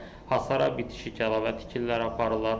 Hasara bitişik kəlavə tikirlər aparırlar.